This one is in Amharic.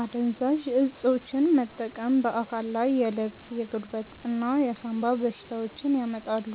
አደንዛዥ እፆችን መጠቀም በአካል ላይ የልብ፣ የጉበት እና የሳምባ በሽታዎችን ያመጣሉ፣